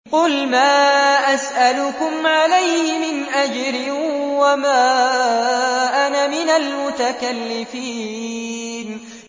قُلْ مَا أَسْأَلُكُمْ عَلَيْهِ مِنْ أَجْرٍ وَمَا أَنَا مِنَ الْمُتَكَلِّفِينَ